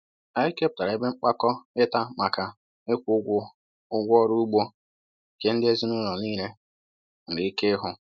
Anyị kepụtara ebe mkpakọr ịta maka ịkwụ ụgwọ ụgwọ ọrụ ugbo nke ndị ezinụlọ niile nwere ike ịhụ.